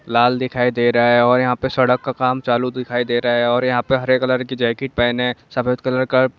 लाल दिखाई दे रहा है और यहा सड़क का काम चालू हे दिखाई दे रहा है और यहा पर हरे कलर का जैकेट पहने सफ़ेद कलर का --